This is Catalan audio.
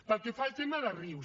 pel que fa al tema de rius